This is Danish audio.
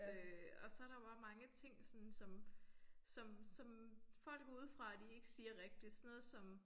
Øh og så der bare mange ting sådan som som som folk udefra de ikke siger rigtigt sådan noget som